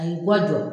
A y'i ka jɔ